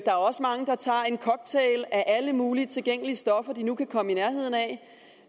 er også mange der tager en cocktail af alle mulige tilgængelige stoffer de nu kan komme i nærheden af